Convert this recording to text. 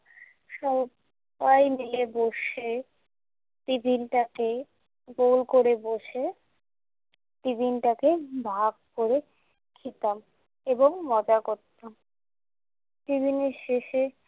সব্বাই মিলে বসে টিফিনটাকে~ গোল করে বসে টিফিনটাকে ভাগ করে খেতাম এবং মজা করতাম। টিফিনের শেষে